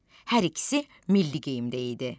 Hər ikisi milli geyimdə idi.